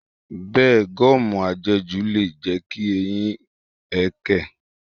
Bẹ́ẹ̀ni, gọ́ọ̀mù à jẹ jù lè jẹ́ kí eyín ẹkẹ̀.